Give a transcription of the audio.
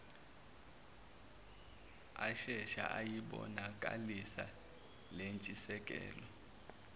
ashesha ayibonakalisa lentshisekelo